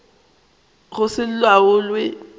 go se laolwe ke mmušo